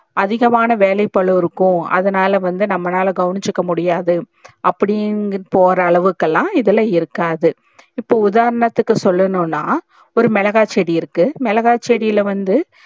அதிகமான வேலைகளும் இருக்கும் அதுனால வந்து நம்மனால கவனச்சிக்க முடியாது அப்டியும் போற அளவுக்கு எல்லாம் இதுல இருக்காது இப்ப உதாரணத்துக்கு சொள்ளன்னுன்னா ஒரு மிளகாய் செடி இருக்கு மிளகாய் செடில வந்து